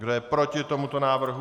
Kdo je proti tomuto návrhu?